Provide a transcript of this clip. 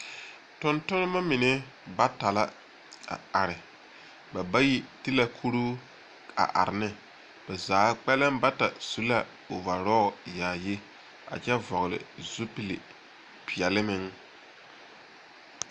Tontonema mine bata la ba bayi ti kuruu a are ne. Ba zaa kpɛlɛŋ bata su la ovarɔɔl yaayi a kyɛ vɔgele zupili peɛle meŋ